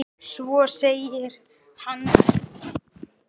Svo segir hann